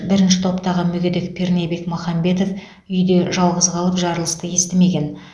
бірінші топтағы мүгедек пернебек махамбетов үйде жалғыз қалып жарылысты естімеген